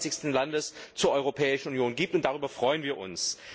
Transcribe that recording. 28. Landes zur Europäischen Union gibt, und darüber freuen wir uns.